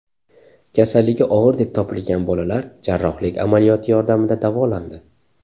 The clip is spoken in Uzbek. Kasalligi og‘ir deb topilgan bolalar jarrohlik amaliyoti yordamida davolandi.